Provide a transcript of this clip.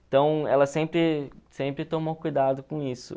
Então, ela sempre sempre tomou cuidado com isso.